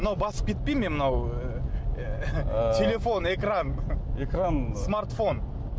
мынау басып кетпей ме мынау ы телефон экран экран смартфон